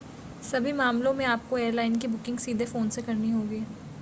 सभी मामलों में आपको एयरलाइन की बुकिंग सीधे फ़ोन से करनी होगी